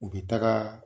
U bɛ taga